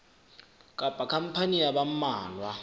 kapa khampani ya ba mmalwa